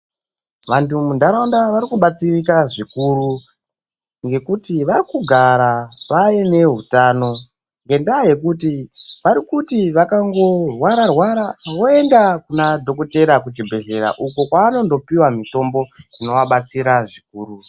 Vantu mundaraunda vakubatsirika zvikuru ngekuti vakugara vaine hutano ngenda yekuti vari kuti vakango rwara rwara voenda kuna dhokotera kuchibhedhlera uko kwanondopiwa mitombo inovabatsira zvikuru.